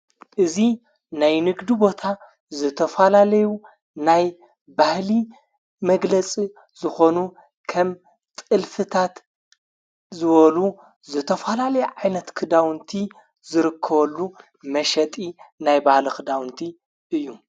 እዙ ናይ ንግዱ ቦታ ዘተፋላለዩ ናይ ባህሊ መግለጽ ዝኾኑ ከም ጥልፍታት ዝወሉ ዘተፈላለይ ዓይነት ክዳውንቲ ዝርክወሉ መሸጢ ናይ ባህል ኽዳውንቲ እዩ::